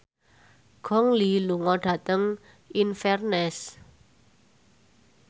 Gong Li lunga dhateng Inverness